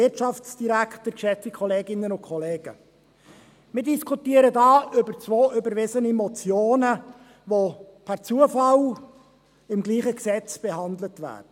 Wir diskutieren hier über zwei überwiesene Motionen , welche per Zufall im selben Gesetz behandelt werden.